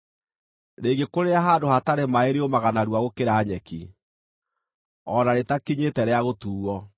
Rĩngĩkũrĩra handũ hatarĩ maaĩ rĩũmaga narua gũkĩra nyeki, o na rĩtakinyĩte rĩa gũtuuo.